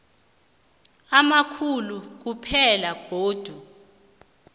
amakhulu kuphela begodu